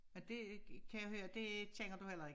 Er det ikke kan jeg høre det kender du heller ikke